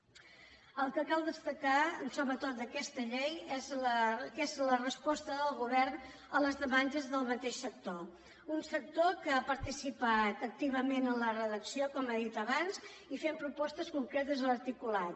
el que cal destacar sobretot d’aquesta llei és la resposta del govern a les demandes del mateix sector un sector que ha participat activament en la redacció com he dit abans i fent propostes concretes a l’articulat